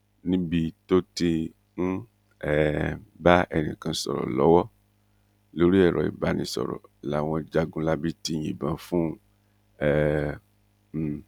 níbi tó ti ń um bá ẹnìkan sọrọ lọwọ lórí ẹrọ ìbánisọrọ làwọn jagunlabí ti yìnbọn fún um un